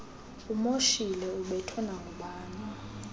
umoshile ubethwe nangubani